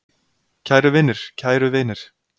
Kæru vinir, kæru vinir.